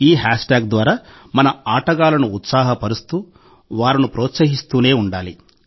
ఈ హ్యాష్ట్యాగ్ ద్వారా మన ఆటగాళ్లను ఉత్సాహపరుస్తూ వారిని ప్రోత్సహిస్తూనే ఉండాలి